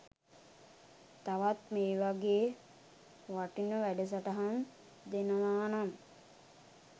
තවත් මේ වගේ වටින වැඩසටහන් දෙනවා නම්